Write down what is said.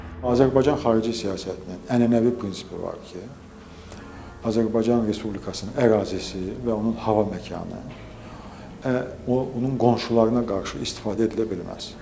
Azərbaycan xarici siyasətinin ənənəvi prinsipi var ki, Azərbaycan Respublikasının ərazisi və onun hava məkanı, o onun qonşularına qarşı istifadə edilə bilməz.